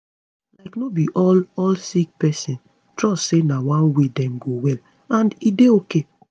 like no be all all sick person trust say na one way dem go well and e dey ok